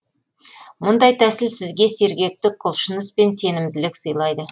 мұндай тәсіл сізге сергектік құлшыныс пен сенімділік сыйлайды